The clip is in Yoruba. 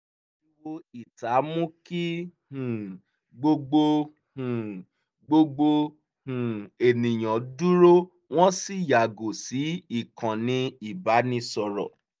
ariwo ìta mú kí um gbogbo um gbogbo um ènìyàn dúró wọ́n sì yàgò sí ìkànnì ìbánisọ̀rọ̀